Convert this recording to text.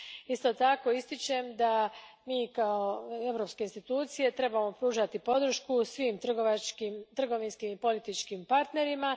Isto tako, ističem da mi kao europske institucije trebamo pružati podršku svim trgovinskim i političkim partnerima.